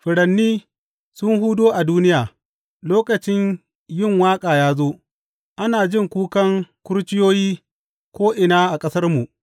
Furanni sun hudo a duniya; lokaci yin waƙa ya zo, ana jin kukan kurciyoyi ko’ina a ƙasarmu.